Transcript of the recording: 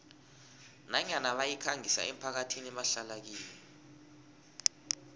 nanyana bayikhangisa emphakathini ebahlala kiyo